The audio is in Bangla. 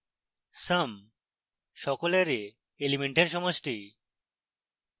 sum সকল অ্যারে elements সমষ্টি